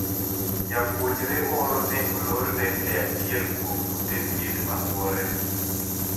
Japuonjre moro ne olorne e achiel kuom ute thieth ma Buore